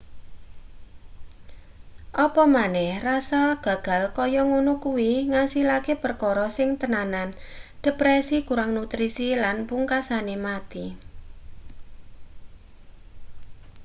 apa maneh rasa gagal kaya ngono kuwi ngasilake perkara sing tenanan depresi kurang nutrisi lan pungksane mati